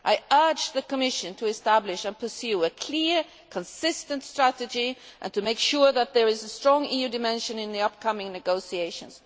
I urge the Commission to establish and pursue a clear, consistent strategy, and to make sure that there is a strong EU dimension in the upcoming negotiations.